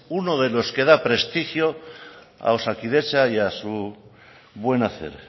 uno de los que da prestigio a osakidetza y a su buen hacer